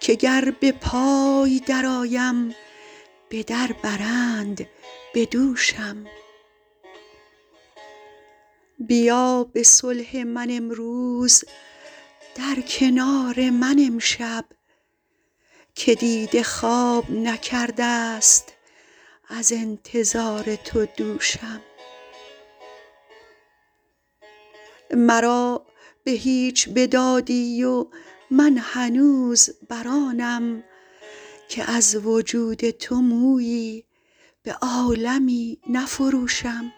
که گر به پای درآیم به در برند به دوشم بیا به صلح من امروز در کنار من امشب که دیده خواب نکرده ست از انتظار تو دوشم مرا به هیچ بدادی و من هنوز بر آنم که از وجود تو مویی به عالمی نفروشم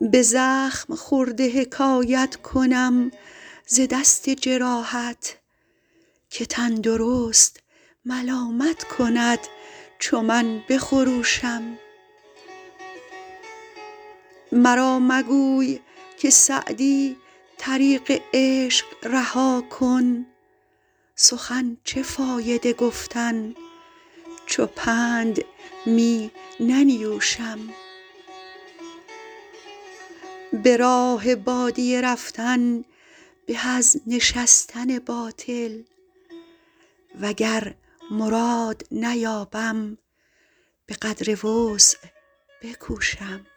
به زخم خورده حکایت کنم ز دست جراحت که تندرست ملامت کند چو من بخروشم مرا مگوی که سعدی طریق عشق رها کن سخن چه فایده گفتن چو پند می ننیوشم به راه بادیه رفتن به از نشستن باطل وگر مراد نیابم به قدر وسع بکوشم